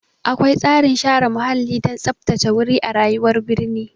Akwai tsarin share muhalli don tsaftace wuri a rayuwar birni.